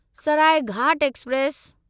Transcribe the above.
Saraighat express